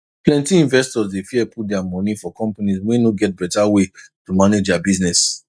plenty investors dey fear put their moni for companies wey no get better way to manage their business